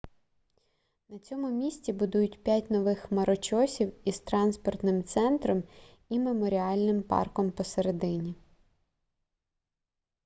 на цьому місці будують п'ять нових хмарочосів із транспортним центром і меморіальним парком посередині